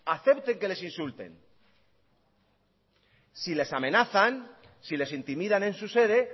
acepten que les insulten si les amenazan si les intimidan en su sede